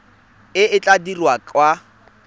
e e tla dirwang kwa